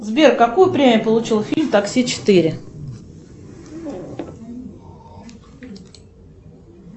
сбер какую премию получил фильм такси четыре